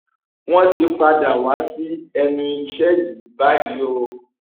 wọn ti padà wá sí ẹnu iṣẹ yìí báyìí o